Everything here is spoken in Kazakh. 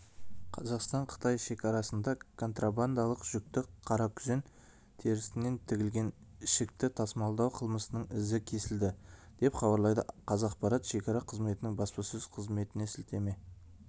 қазақстан-қытай шекарасында контрабандалық жүкті қаракүзен терісінен тігілген ішікті тасымалдау қылмысының ізі кесілді деп хабарлайды қазақпарат шекара қызметінің баспасөз қызметіне сілтеме